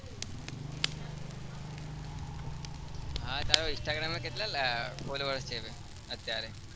હા તારા instargram માં કેટલા followers છે ભાઈ અત્યારે?